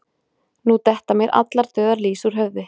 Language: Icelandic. Nú detta mér allar dauðar lýs úr höfði